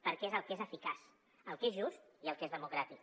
perquè és el que és eficaç el que és just i el que és democràtic